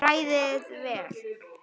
Hrærið vel.